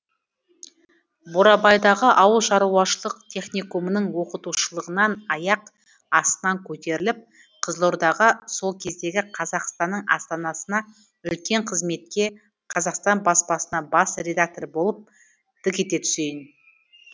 бурабайдағы ауылшаруашылық техникумының оқытушылығынан аяқ астынан көтеріліп қызылордаға сол кездегі қазақстанның астанасына үлкен қызметке қазақстан баспасына бас редактор болып дік ете түсейін